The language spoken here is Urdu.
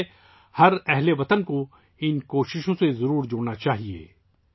اس لیے ہر اہل وطن کو ، ان کوششوں میں شامل ہونا چاہیے